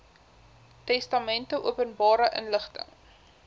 testamente openbare inligting